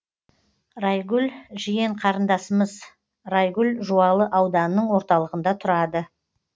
райгүл жиен қарындасымыз райгүл жуалы ауданының орталығында тұрады